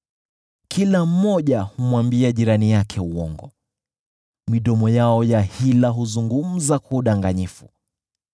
Kila mmoja humwambia jirani yake uongo; midomo yao ya hila huzungumza kwa udanganyifu.